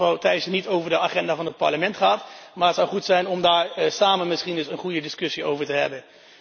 Ik weet dat mevrouw Thyssen niet over de agenda van het Parlement gaat, maar het zou goed zijn om daar samen misschien eens een goede discussie over te hebben.